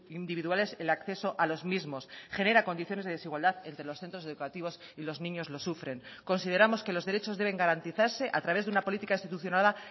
individuales el acceso a los mismos genera condiciones de desigualdad entre los centros educativos y los niños lo sufren consideramos que los derechos deben garantizarse a través de una política institucionada